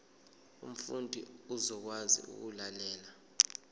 umfundi uzokwazi ukulalela